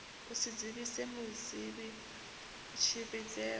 u si dzivhise muvhidzi tshivhidzelwa